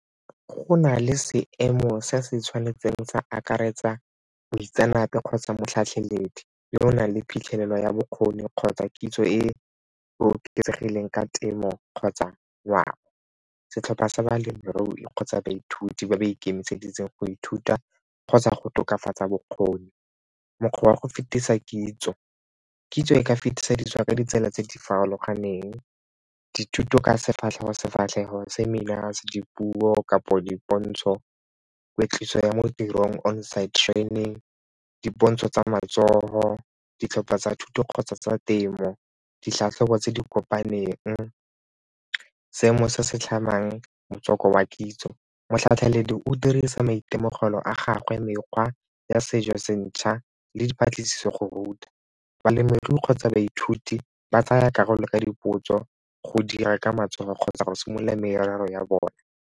Go na le seemo se se tshwanetseng sa akaretsa boitseanape kgotsa motlhatlheledi yo o nang le phitlhelelo ya bokgoni kgotsa kitso e e oketsegileng ka temo kgotsa . Setlhopha sa balemirui kgotsa baithuti ba ba ikemiseditseng go ithuta kgotsa go tokafatsa bokgoni. Mokgwa wa go fetisa kitso, kitso e ka fetisediwa ka ditsela tse di farologaneng dithuto ka sefatlhego-sefatlhego, seminars, dipuo kapo dipontsho kweetliso ya mo tirong, on-site training, dipontsho tsa matsogo, ditlhopha tsa thuto kgotsa tsa temo, ditlhatlhobo tse di kopaneng, seemo se se tlhamang motswako wa kitso. Motlhatlheledi o dirisa maitemogelo a gagwe mekgwa ya sejo se ntšha le dipatlisiso go ruta balemirui kgotsa baithuti ba tsaya karolo ka dipotso go dira ka matsogo kgotsa go simolola merero ya bona.